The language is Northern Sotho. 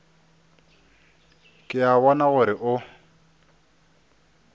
ke a bona gore o